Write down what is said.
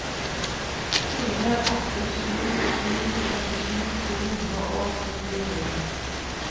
fire åtte sju sju femtisju to hundre og syttini